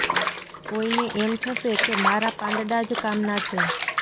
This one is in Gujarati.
કોઈને એમ થશે કે મારાં પાંદડાં જ કામનાં છે